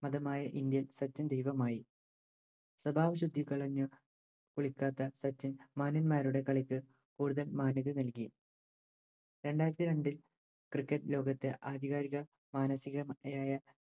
ആദ്യമായി ഇന്ത്യൻ സച്ചിൻ മായി സ്വഭാവ ശുദ്ധി കളഞ്ഞ് കളിക്കാത്ത സച്ചിൻ മാന്യൻ മാരുടെ കളിക്ക് കൂടുതൽ മാന്യത നൽകി രണ്ടായിരത്തിരണ്ടിൽ Cricket ലോകത്തെ ആധികാരിക മാനസ്സികമായ